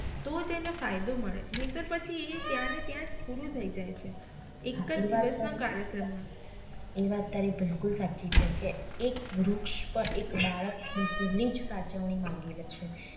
તોજ એને ફાયદો મળે નહિતર પછી એ ત્યાં ને ત્યાં જ પૂરું થઈ જાય છે એક જ દિવસ ના કાર્યક્રમ મા એ વાત તારી બિલકુલ સાચી છે કે એક વૃક્ષ પણ એક બાળક જેટલી જ સાચવણી માંગી લે છે